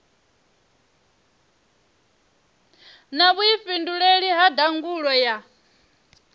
na vhuifhinduleli ha ndangulo ya